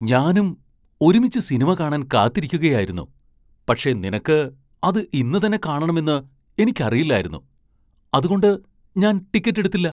ഞാനും ഒരുമിച്ച് സിനിമ കാണാൻ കാത്തിരിക്കുകയായിരുന്നു, പക്ഷേ നിനക്ക് അത് ഇന്ന് തന്നെ കാണണമെന്ന് എനിക്കറിയില്ലായിരുന്നു ,അതുകൊണ്ട് ഞാൻ ടിക്കറ്റ് എടുത്തില്ല.